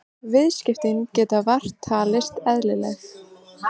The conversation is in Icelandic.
Viðskiptin geta vart talist eðlileg